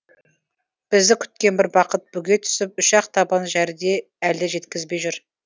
бізді күткен бір бақыт бүге түсіп үш ақ табан жәрде әлі жеткізбей жүр